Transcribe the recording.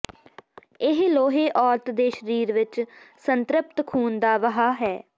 ਇਹ ਲੋਹੇ ਔਰਤ ਦੇ ਸਰੀਰ ਵਿੱਚ ਸੰਤ੍ਰਿਪਤ ਖੂਨ ਦਾ ਵਹਾਅ ਹੈ